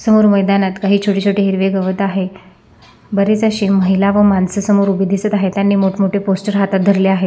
समोर मैदानात काही छोटे छोटे हिरवे गवत आहेत बरेच अशे समोर महिला व माणसे दिसत आहेत त्यांनी मोठं मोठे पोस्टर हातात धरले आहेत.